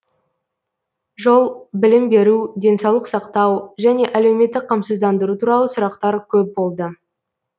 жол білім беру денсаулық сақтау және әлеуметтік қамсыздандыру туралы сұрақтар көп болды